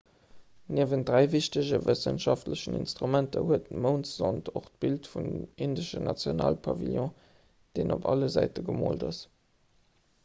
niewent dräi wichtege wëssenschaftlechen instrumenter hat d'moundsond och d'bild vum indeschen nationalpavillon deen op alle säite gemoolt ass